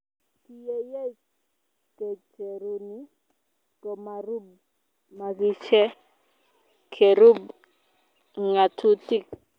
Kiyeyei kecheruni komarub makishe kerub ngatutik.